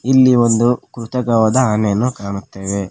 ಇಲ್ಲಿ ಒಂದು ಕೃತಕವಾದ ಆನೆಯನ್ನು ಕಾಣುತ್ತೇವೆ.